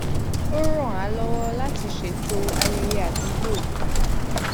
ó ràn án lọwọ láti ṣètò ayẹyẹ àdúgbò